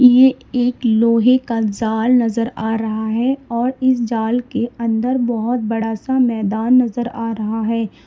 ये एक लोहे का जाल नजर आ रहा है और इस जाल के अंदर बोहोत बड़ा सा मैदान नजर आ रहा है।